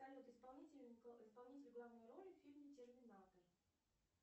салют исполнитель главной роли в фильме терминатор